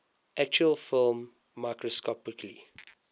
actual film microscopically